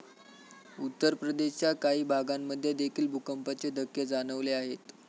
उत्तरप्रदेशच्या काही भागांमध्ये देखील भूकंपाचे धक्के जाणवले आहेत.